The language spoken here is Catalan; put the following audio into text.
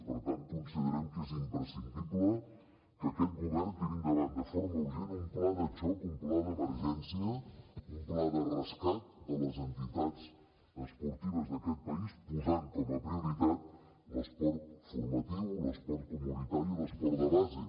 per tant considerem que és imprescindible que aquest govern tiri endavant de forma urgent un pla de xoc un pla d’emergència un pla de rescat de les entitats esportives d’aquest país posant com a prioritat l’esport formatiu l’esport comunitari i l’esport de base